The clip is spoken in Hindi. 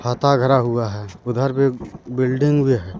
हाता घेरा हुआ है उधर भी बिल्डिंग भी है।